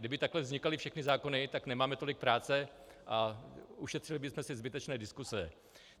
Kdyby takhle vznikaly všechny zákony, tak nemáme tolik práce a ušetřili bychom si zbytečné diskuse.